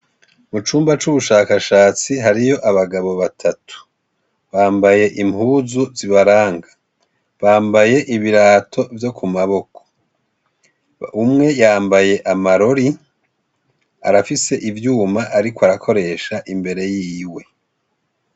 Mucumba c' ubushakashatsi hariy' abagabo batatu, bambay' impuzu zibaranga, bambay' ibirato vyo kumaboko, umwe yambay' amarori, arafis' ivyum' arik' arakoresh' imbere yiwe.